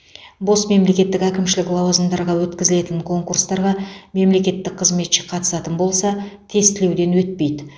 бос мемлекеттік әкімшілік лауазымдарға өткізілетін конкурстарға мемлекеттік қызметші қатысатын болса тестілеуден өтпейді